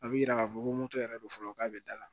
A bɛ yira k'a fɔ ko moto yɛrɛ don fɔlɔ k'a bɛ da la